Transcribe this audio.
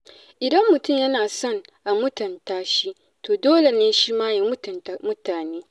Idan mutum yana son a mutunta shi, to dole ne shima ya mutunta mutane.